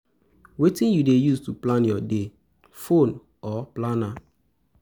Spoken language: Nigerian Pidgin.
Wetin you dey use to plan your day, phone or planner?